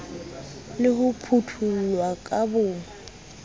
le ho phuthollwa ka bo